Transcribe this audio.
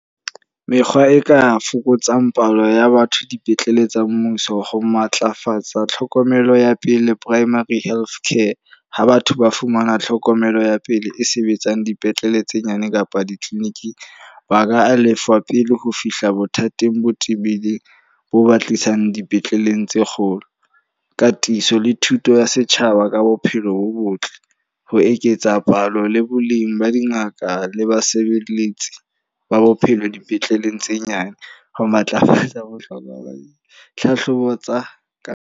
Mekgwa e ka fokotsang palo ya batho dipetlele tsa mmuso. Ho matlafatsa tlhokomelo ya pele Primary Healthcare. Ha batho ba fumana tlhokomelo ya pele e sebetsang dipetlele tse nyane kapa di-clinic-ng. Ba ka lefa pele ho fihla bothateng bo tibileng, bo ba tlisang dipetleleng tse kgolo. Ka tifiso le thuto ya setjhaba ka bophelo bo botle. Ho eketsa palo le boleng ba dingaka le basebeletsi ba bophelo dipetleleng tse nyane. Ho matlafatsa bohlokwa ba hlahlobong tsa ka.